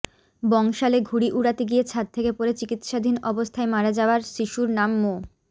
বংশালে ঘুড়ি উড়াতে গিয়ে ছাদ থেকে পড়ে চিকিৎসাধীন অবস্থায় মারা যাওয়ার শিশুর নাম মো